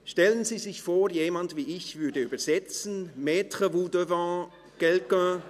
Stellen Sie sich vor, jemand wie ich würde übersetzen – mettez-vous devant quelqu